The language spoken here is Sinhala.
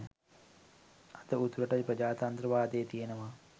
අද උතුරට ප්‍රජාතන්ත්‍රවාදය තියෙනව